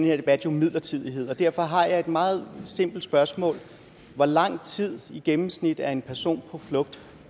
her debat midlertidighed og derfor har jeg et meget simpelt spørgsmål hvor lang tid i gennemsnit er en person på flugt